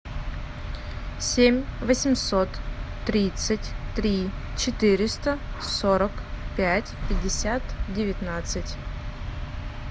семь восемьсот тридцать три четыреста сорок пять пятьдесят девятнадцать